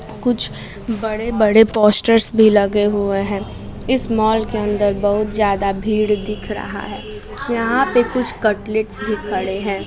कुछ बड़े बड़े पोस्टरस भी लगे हुवे हैं इस मॉल के अंदर बहुत जड़ा भीड़ दिख रहा है यहां पे कुछ कटलेश भी खड़े हैं।